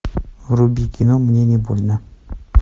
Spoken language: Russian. вруби кино мне не больно